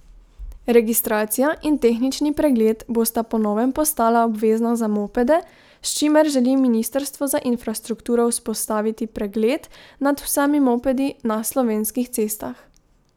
Registracija in tehnični pregled bosta po novem postala obvezna za mopede, s čimer želi ministrstvo za infrastrukturo vzpostaviti pregled nad vsemi mopedi na slovenskih cestah.